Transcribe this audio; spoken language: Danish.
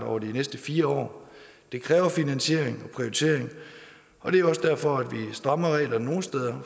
over de næste fire år det kræver finansiering og prioritering og det er også derfor at vi strammer reglerne nogle steder